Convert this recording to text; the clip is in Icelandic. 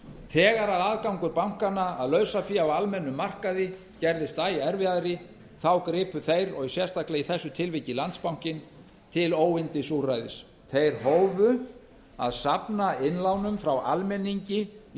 þegar aðgangur bankanna að lausafé á almennum markaði gerðist æ erfiðari þá gripu þeir og sérstaklega í þessu tilfelli landsbanka til óyndisúrræðis þeir hófu að safna innlánum frá almenningi í